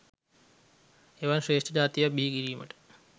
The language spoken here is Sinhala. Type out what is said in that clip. එවන් ශ්‍රේෂ්ඨ ජාතියක් බිහි කිරීමට